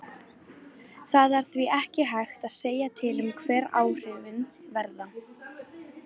Það er því ekki hægt að segja til um hver áhrifin verða.